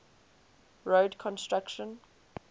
road construction